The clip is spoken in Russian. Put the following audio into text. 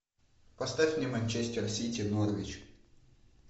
поставь мне манчестер сити норвич